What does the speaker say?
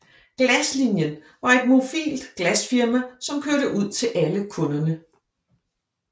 Glaslinien var et mobilt glasfirma som kørte ud til alle kunderne